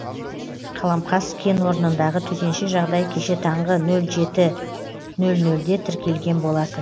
қаламқас кенорнындағы төтенше жағдай кеше таңғы нөл жеті нөл нөлде тіркелген болатын